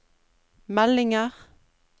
meldinger